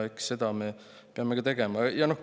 Eks seda me peame ka.